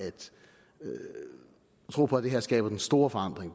tro på at det her skaber den store forandring